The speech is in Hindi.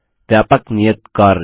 व्यापक नियत कार्य